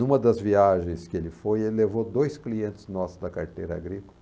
Numa das viagens que ele foi, ele levou dois clientes nossos da carteira agrícola.